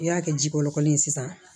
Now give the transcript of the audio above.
I y'a kɛ ji kɔrɔlen ye sisan